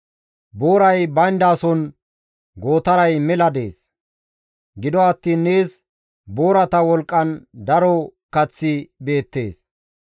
Booray bayndason gootaray mela dees; gido attiin nees boorata wolqqan daro kaththi beettees.